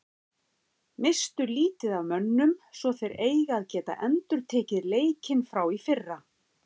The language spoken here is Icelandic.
Misstu lítið af mönnum svo þeir eiga að geta endurtekið leikinn frá í fyrra.